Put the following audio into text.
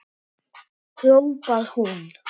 hrópar hún.